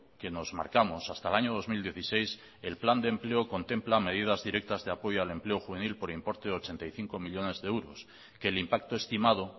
que nos marcamos hasta el año dos mil dieciséis el plan de empleo contempla medidas directas de apoyo al empleo juvenil por importe de ochenta y cinco millónes de euros que el impacto estimado